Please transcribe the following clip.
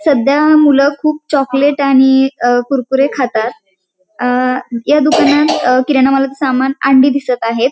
सध्या मूल खूप चॉकलेट आणि अ कुरकुरे खातात. अ या दुकानात किरना मालाचा समान अंडी दिसत आहेत.